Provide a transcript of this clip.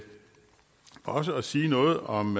også at sige noget om